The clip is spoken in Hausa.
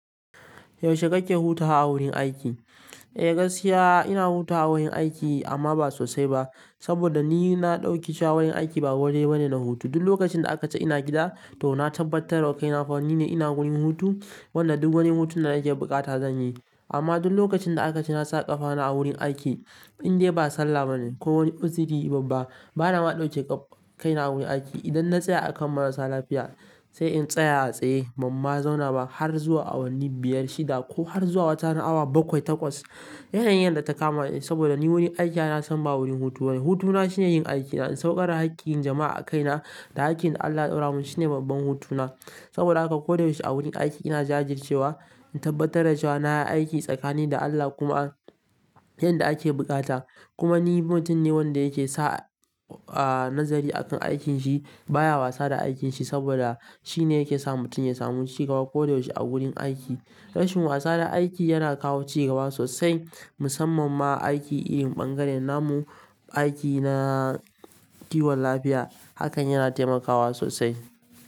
Yaushe kake hutawa a wurin aiki? Eh gaskiya ina hutawa wurin aiki amma ba sosai ba. Saboda ni na ɗauki cewa wurin aiki ba waje bane na hutu. Duk lokacin da aka ce ina gida to na tabbatar wa kai na fa ni ne ina wurin hutu. Wanda duk wani hutun da nake buƙata zan yi. Amma duk lokacin da aka ce na sa ƙafa na a wurin aiki indai ba sallah ba ne ko wani uzuri babba bana ma ɗauke ƙaf, kai na wurin aiki. Idan na tsaya akan marasa lafiya sai in tsaya a tsaye, bamma zauna ba har zuwa awanni biyar shida ko har zuwa watarana awa bakwai takwas. Yanayin da ta kama ni saboda ni wurin aiki ana san ba wurin hutu bane. Hutuna shine yin aikina in sauƙari haƙƙin jama'a a kaina da haƙƙin da Allah ya ɗora mun shine babban hutuna. Saboda haka koda yaushe a wurin aiki ina jajircewa in tabbatar da cewa na yi aiki tsakani da Allah kuma yanda ake buƙata. Kuma ni mutum ne wanda yake sa, ah nazari akan aikin shi baya wasa da aikin shi saboda shine yake sa mutum ya samu cigaba koda yaushe a wurin aiki. Rashin wasa da aiki yana ƙawo cigaba sosai musamman ma aiki iyi bangaren namu aiki na kiwon lafiya hakan yana taimakawa sosai.